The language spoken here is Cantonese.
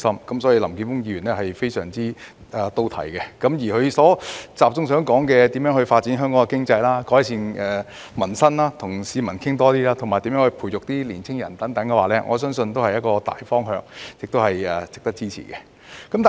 因此，林健鋒議員的議案非常到題，集中討論發展香港經濟、改善民生、與市民多溝通，以及培育年青人等，我相信這些都是大方向，值得支持。